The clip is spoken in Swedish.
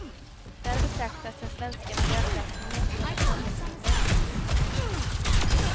Där betraktas den svenska miljöklassningen som ett handelshinder. punkt